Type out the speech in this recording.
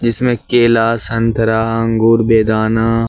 इसमें केला संतरा अंगूर बेदाना--